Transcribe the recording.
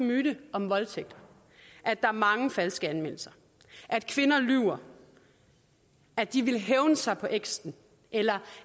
myte om voldtægt at der er mange falske anmeldelser at kvinder lyver at de vil hævne sig på eksen eller